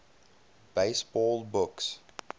baseball books